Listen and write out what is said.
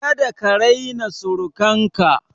Kada ka raina surukan ka!